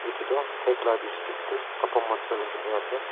etu toh phek lah district teh kapra machol lah jaga ase.